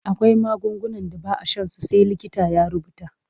Akwai magungunan da ba a shan su sai likita ya rubuta.